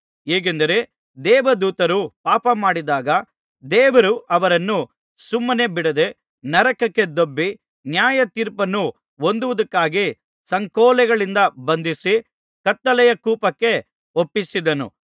ಹೇಗೆಂದರೆ ದೇವದೂತರು ಪಾಪಮಾಡಿದಾಗ ದೇವರು ಅವರನ್ನು ಸುಮ್ಮನೆ ಬಿಡದೆ ನರಕಕ್ಕೆ ದೊಬ್ಬಿ ನ್ಯಾಯತೀರ್ಪನ್ನು ಹೊಂದುವುದಕ್ಕಾಗಿ ಸಂಕೋಲೆಗಳಿಂದ ಬಂಧಿಸಿ ಕತ್ತಲೆಯ ಕೂಪಕ್ಕೆ ಒಪ್ಪಿಸಿದನು